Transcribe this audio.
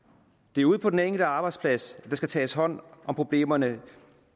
det er ude på den enkelte arbejdsplads at der skal tages hånd om problemerne